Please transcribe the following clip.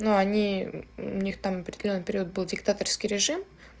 но они у них там определённый период был диктаторский режим